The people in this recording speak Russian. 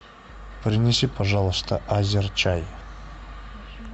принеси пожалуйста азерчай